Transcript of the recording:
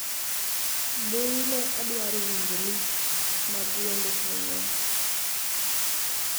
mbui ne adwaro winjo list mag wende pinywa